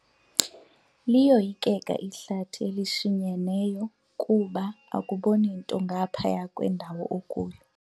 Liyoyikeka ihlathi elishinyeneyo kuba akuboni nto ngaphaya kwendawo okuyo.